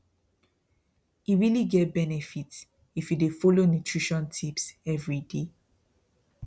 e really get benefit if you dey follow nutrition tips every day